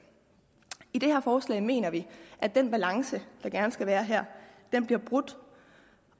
i det her forslag mener vi at den balance der gerne skal være her bliver brudt